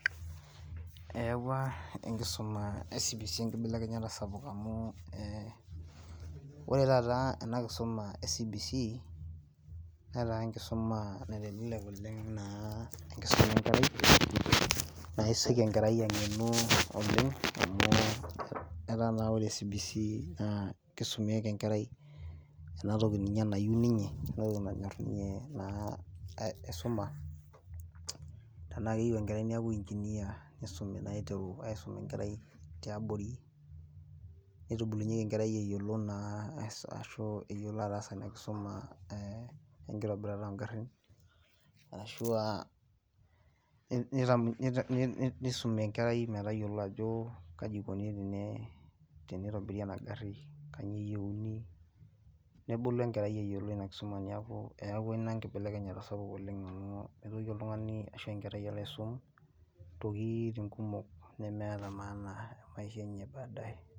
ewa enkisuma CBC enkibelekenyata sapuk oleng amu ore taata enakisuma e cbc netaa enkisuma enkerai naa kesioki enkerai ang'enu oleng', amu etaa naa ore enatoki nanyor ninye enkerai neeku inginia , nitru aisum enkerai tiabori, nitubulunyieki enerai eyiolo naa ashu eyiolo atasa ina kisuma enkitobirata oo igarin, ashuaa nisumi enkerai kaji ikoni tinitobiri ena gari , neeku eyawuw inkibelekenyat kumok.